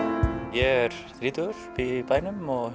er þrítugur bý í bænum og